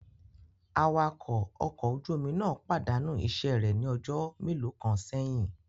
Awakọ̀ ọkọ ojú omi náà pàdánù iṣẹ́ rẹ̀ ní ọjọ́ mélòó kan sẹ́yìn